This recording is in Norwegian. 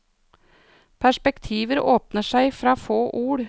Perspektiver åpner seg fra få ord.